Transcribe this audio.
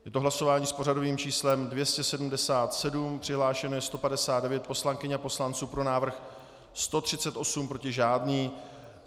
Je to hlasování s pořadovým číslem 277, přihlášeno je 159 poslankyň a poslanců, pro návrh 138, proti žádný.